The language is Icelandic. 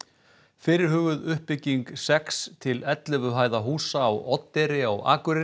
fyrirhuguð uppbygging sex til ellefu hæða húsa á Oddeyri á Akureyri